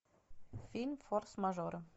фильм форс мажоры